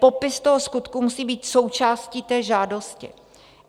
Popis toho skutku musí být součástí té žádosti.